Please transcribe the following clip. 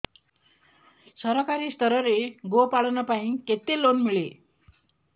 ସରକାରୀ ସ୍ତରରେ ଗୋ ପାଳନ ପାଇଁ କେତେ ଲୋନ୍ ମିଳେ